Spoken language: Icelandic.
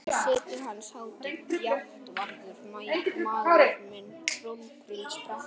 Og hér situr Hans Hátign, Játvarður, mágur minn, krónprins Breta.